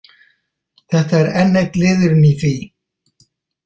Þetta er enn einn liðurinn í því.